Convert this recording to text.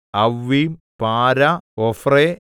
അവ്വീം പാര ഒഫ്രെ